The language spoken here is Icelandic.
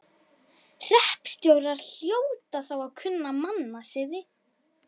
Hreppstjórar hljóta þó að kunna mannasiði.